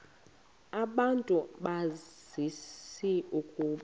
abantu bazi ukuba